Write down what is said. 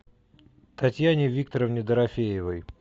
татьяне викторовне дорофеевой